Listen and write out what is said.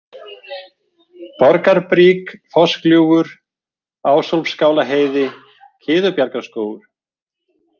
Borgarbrík, Fossgljúfur, Ásólfskálaheiði, Kiðubjargarskógur